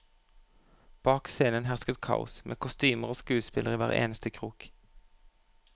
Bak scenen hersket kaos, med kostymer og skuespillere i hver eneste krok.